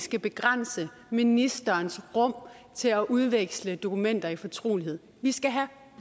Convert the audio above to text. skal begrænse ministerens rum til at udveksle dokumenter i fortrolighed vi skal have